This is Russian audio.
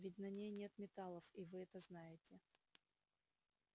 ведь на ней нет металлов и вы это знаете